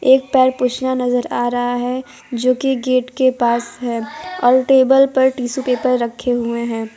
एक पैर पोछना नज़र आ रहा है जोकि गेट के पास है और टेबल पर टिश्यू पेपर रखे हुए है।